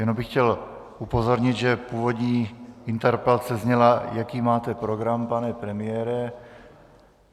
Jenom bych chtěl upozornit, že původní interpelace zněla: Jaký máte program, pane premiére?